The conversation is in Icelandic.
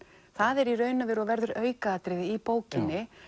það er í raun og veru og verður aukaatriði í bókinni